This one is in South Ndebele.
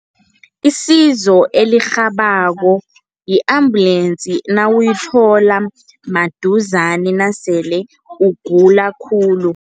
Isizo elirhabako, yi-ambulensi nawuyithola maduzane nasele ugula khulu.